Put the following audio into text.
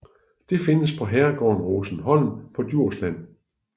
Det findes på herregården Rosenholm på Djursland